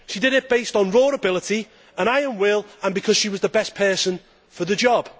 She did it based on raw ability, an iron will and because she was the best person for the job.